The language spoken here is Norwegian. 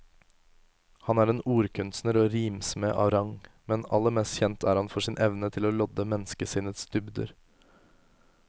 Han er en ordkunstner og rimsmed av rang, men aller mest kjent er han for sin evne til å lodde menneskesinnets dybder.